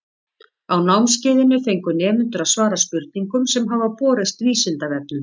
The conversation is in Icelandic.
Á námskeiðinu fengu nemendur að svara spurningum sem hafa borist Vísindavefnum.